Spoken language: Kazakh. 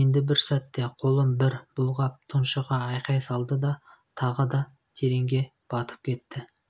енді бір сәтте қолын бір бұлғап тұншыға айқай салды да тағы да тереңге батып кетті